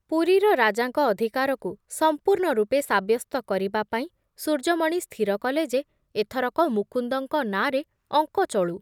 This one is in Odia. ପୁରୀର ରାଜାଙ୍କ ଅଧିକାରକୁ ସଂପୂର୍ଣ୍ଣ ରୂପେ ସାବ୍ୟସ୍ତ କରିବା ପାଇଁ ସୂର୍ଯ୍ୟମଣି ସ୍ଥିର କଲେ ଯେ ଏଥରକ ମୁକୁନ୍ଦଙ୍କ ନାଁରେ ଅଙ୍କ ଚଳୁ ।